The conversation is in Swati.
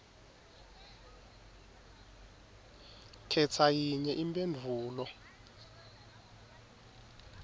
khetsa yinye imphendvulo